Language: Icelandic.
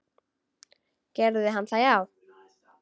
Gerði hann það já?